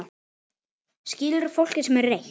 Skilurðu fólkið sem er reitt?